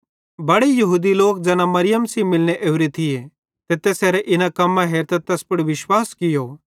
बड़े यहूदी लोक ज़ैना मरियम सेइं मिलने ओरे थिये ते तैसेरां इन्ना कम्मां हेरतां तैस पुड़ विश्वास कियो